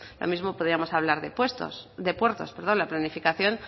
lo mismo podíamos hablar de puertos la planificación